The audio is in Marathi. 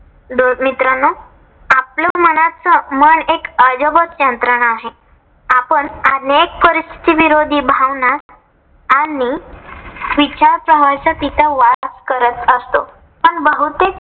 बर मित्रांनो आपल्या मनाच मन एक अजबच यंत्रणा आहे. आपण अनेक परिस्थिती विरोधी भावना आणि विचार प्रवाहाचा तिथे वास करत असतो. पण बहुतेक